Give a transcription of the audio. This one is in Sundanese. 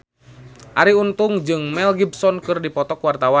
Arie Untung jeung Mel Gibson keur dipoto ku wartawan